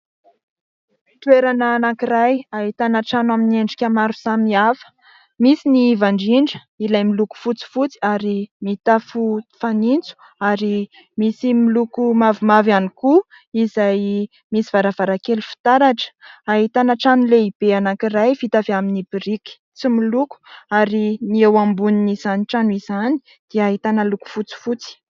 Toerana anankiray ahitana trano amin'ny endrika maro samihafa: misy ny iva indrindra, ilay miloko fotsifotsy ary mitafo fanitso ary misy miloko mavomavo ihany koa izay misy varavarankely fitaratra, ahitana trano lehibe anankiray vita avy amin'ny biriky tsy miloko ary ny eo ambonin'izany trano izany dia ahitana loko fotsifotsy.